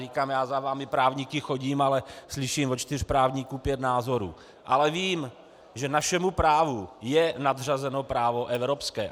Říkám, já za vámi právníky chodím, ale slyším od čtyř právníků pět názorů, ale vím, že našemu právu je nadřazeno právo evropské.